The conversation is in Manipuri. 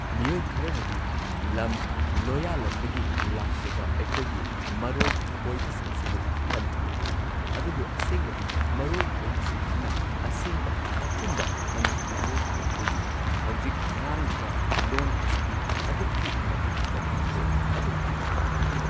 ꯃꯤꯑꯣꯏ ꯈꯔꯅꯗꯤ ꯂꯝ ꯂꯣꯌꯥꯂꯝꯗꯒꯤ ꯂꯥꯛꯆꯕ ꯑꯩꯈꯣꯏꯒꯤ ꯃꯔꯣꯜ ꯈꯣꯢꯕꯁꯤꯡꯁꯤꯕꯨ ꯍꯟꯊꯅ ꯌꯦꯡꯕꯤ ꯑꯗꯨꯕꯨ ꯑꯁꯦꯡꯕꯗꯤ ꯃꯔꯣꯜ ꯈꯣꯏꯕꯁꯤꯡꯁꯤꯅ ꯑꯁꯦꯡꯕ ꯑꯆꯨꯝꯕ ꯃꯅꯤꯄꯨꯔꯤ ꯂꯣꯟ ꯑꯣꯏꯗꯣꯏꯅꯤ ꯍꯧꯖꯤꯛ ꯉꯥꯡꯂꯤꯕ ꯂꯣꯟ ꯑꯁꯤꯗꯤ ꯑꯗꯨꯛꯀꯤ ꯃꯇꯤꯛ ꯇꯞꯊꯈ꯭ꯔꯦ ꯑꯗꯨꯛꯀꯤ ꯃꯇꯤꯛ ꯇꯞꯄꯤ꯫